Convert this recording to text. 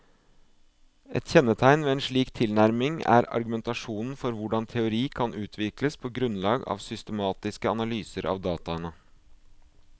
Et kjennetegn ved en slik tilnærming er argumentasjonen for hvordan teori kan utvikles på grunnlag av systematiske analyser av dataene.